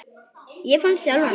Ég fann sjálfan mig.